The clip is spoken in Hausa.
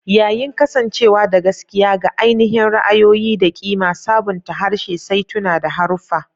Yayin kasancewa da gaskiya ga ainihin ra'ayoyi da ƙima, sabunta harshe, saituna, da haruffa.